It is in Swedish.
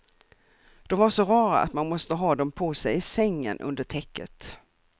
De var så rara att man måste ha dem på sig i sängen under täcket.